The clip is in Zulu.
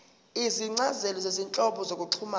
izincazelo zezinhlobo zokuxhumana